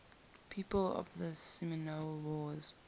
people of the seminole wars